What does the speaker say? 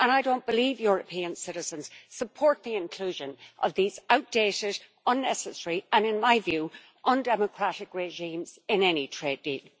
And I don't believe European citizens support the inclusion of these outdated, unnecessary and in my view undemocratic regimes in any trade deal.